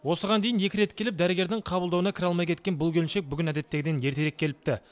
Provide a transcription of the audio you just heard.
осыған дейін екі рет келіп дәрігердің қабылдауына кіре алмай кеткен бұл келіншек бүгін әдеттегіден ертерек келіпті